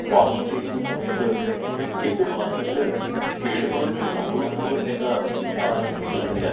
Wash ചെയുന്ന സമയത്ത് എന്റെ വാഹനത്തിന് കേടുപാടുകൾ സംഭവിക്കുമോ എന്ന ആശങ്കയിലാണ് ഞാൻ.